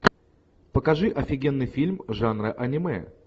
покажи офигенный фильм жанра аниме